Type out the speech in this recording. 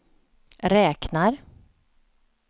räknar